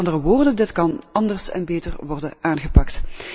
Met andere woorden, dit kan anders en beter worden aangepakt.